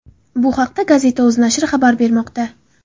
Bu haqda Gazeta.uz nashri xabar bermoqda .